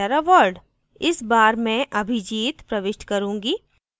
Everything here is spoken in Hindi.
इस बार मैं abhijit प्रविष्ट करूँगी